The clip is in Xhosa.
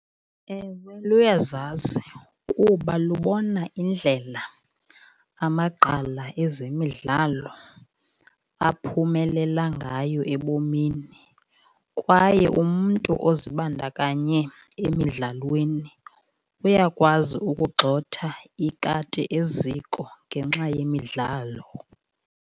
Ewe, luyazazi kuba lubona indlela amagqala ezemidlalo aphumelela ngayo ebomini, kwaye umntu ozibandakanye emidlalweni uyakwazi ukugxotha ikati eziko ngenxa yemidlalo.